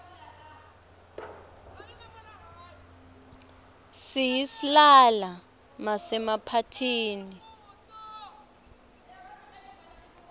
siyislala masemaphathini